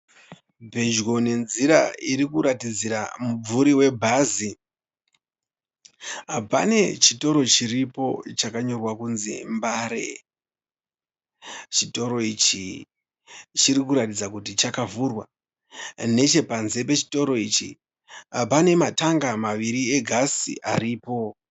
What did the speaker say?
Pedyo nenzira irikuratidzira mumvuri webhazi. Pane chitoro chiripo chakanyorwa kunzi Mbare. Chitoro ichi chirikuratidza kuti chakavhurwa. Nechepanze pechitoro ichi pane matanga maviri egasi aripo.